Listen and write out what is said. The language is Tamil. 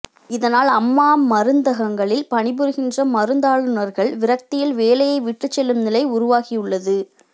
இதனால் அம்மா மருந்தகங்களில் பணிபுரிகிற மருந்தாளுநர்கள் விரக்தியில் வேலையை விட்டுச் செல்லும் நிலை உருவாகியுள்ளது